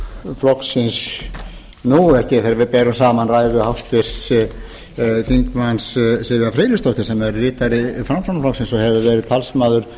nafni flokksins nú ekki þegar við berum saman ræður háttvirts þingmanns sivjar friðleifsdóttur sem er ritari framsóknarflokksins og hefur verið talsmaður